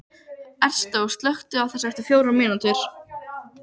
Ernestó, slökktu á þessu eftir fjórar mínútur.